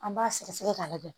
An b'a sɛgɛsɛgɛ k'a lajɛ